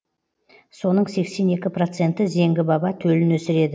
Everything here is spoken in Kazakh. соның сексен екі проценті зеңгі баба төлін өсіреді